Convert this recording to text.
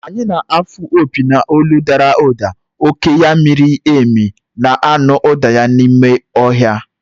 Enyí na-afụ opi n’olu dara ụda, oku ya miri emi, na-anụ ụda na-ekwu n’ime ọhịa.